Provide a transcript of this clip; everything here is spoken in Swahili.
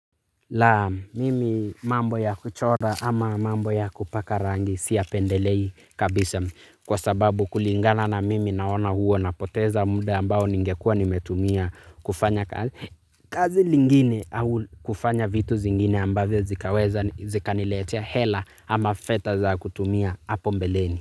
Laa mimi mambo ya kuchora ama mambo ya kupaka rangi siya pendelei kabisa. Kwa sababu kulingana na mimi naona huo na poteza mda ambao ningekua nimetumia kufanya kazi lingine. Kufanya vitu zingine ambavyo zikaweza zika niletea hela ama fedha za kutumia hapo mbeleni.